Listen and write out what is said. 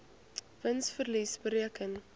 wins verlies bereken